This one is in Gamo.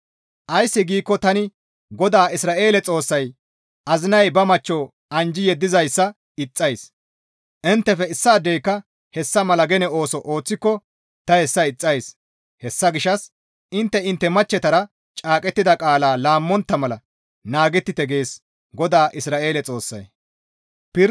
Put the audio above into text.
«Ays giikko tani GODAA Isra7eele Xoossay azinay ba machcho anjji yeddizayssa ixxays; inttefe issaadeyka hessa mala gene ooso ooththiko ta hessa ixxays; hessa gishshas intte intte machchetara caaqettida qaala laammontta mala naagettite» gees GODAA Isra7eele Xoossay.